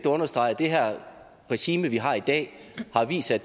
at understrege at det regime vi har i dag har vist sig